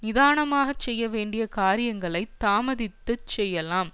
நிதானமாகச் செய்ய வேண்டிய காரியங்களைத் தாமதித்துச் செய்யலாம்